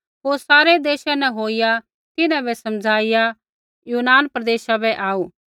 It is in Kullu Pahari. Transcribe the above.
होर सारै देशा न होईया तिन्हां बै समझाईया यूनान प्रदेशा बै आऊ